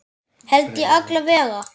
Held ég alla vega.